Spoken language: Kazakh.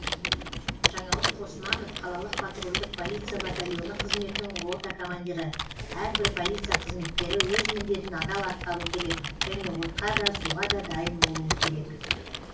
жаңалық қосманов қалалық патрульдік полиция батальоны қызметінің рота командирі әрбір полиция қызметкері өз міндетін адал атқару керек және отқа да суға да дайын болуы керек